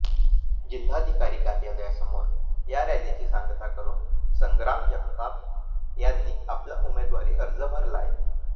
जिल्हाधिकारी कार्यालयासमोर या रॅलीची सांगता करून संग्राम जगताप यांनी आपला उमेदवारी अर्ज भरलाय